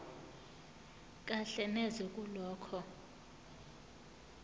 kahle neze kulokho